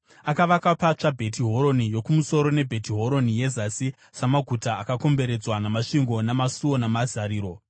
Akavaka patsva Bheti Horoni Yokumusoro neBheti Horoni Yezasi samaguta akakomberedzwa namasvingo namasuo namazariro,